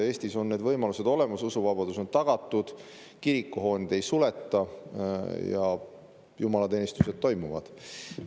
Eestis on need võimalused olemas, usuvabadus on tagatud, kirikuhooneid ei suleta ja jumalateenistused toimuvad.